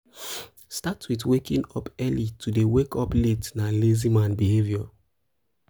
um start with waking up early to de wake up late na lazy man behavior